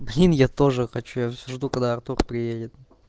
блин я тоже хочу я всё жду когда артур приедет